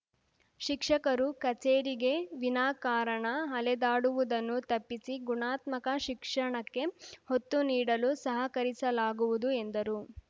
ಶಿಕ್ಷಕರು ಕಚೇರಿಗೆ ವಿನಾ ಕಾರಣ ಅಲೆದಾಡುವುದನ್ನು ತಪ್ಪಿಸಿ ಗುಣಾತ್ಮಕ ಶಿಕ್ಷಣಕ್ಕೆ ಒತ್ತು ನೀಡಲು ಸಹಕರಿಸಲಾಗುವುದು ಎಂದರು